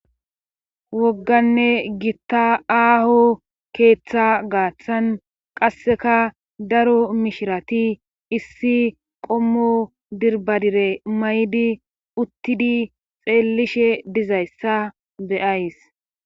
wogganne gitta aaho keeththa gaaththan qasseka daro mishirati issi qommo dirbadire maydi uttidi xeellishe dizayssa be7ays